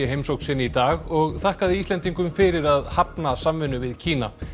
í heimsókn sinni í dag og þakkaði Íslendingum fyrir að hafna samvinnu við Kína